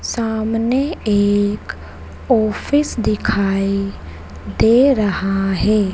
सामने एक ऑफिस दिखाई दे रहा है।